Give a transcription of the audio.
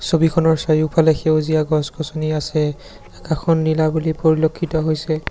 ছবিখনৰ চাৰিওফালে সেউজীয়া গছ-গছনি আছে আকাশখন নীলা বুলি পৰিলক্ষিত হৈছে।